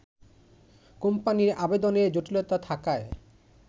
কোম্পানির আবেদনের জটিলতা থাকায়